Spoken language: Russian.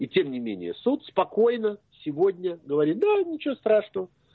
и тем не менее суд спокойно сегодня говорит да ничего страшного